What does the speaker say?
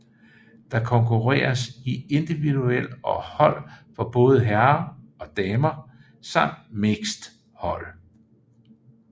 Der konkurreres i individuel og hold for både herrer og damer samt mixed hold